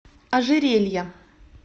ожерелья